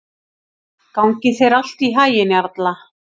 Gangi þér allt í haginn, Jarla.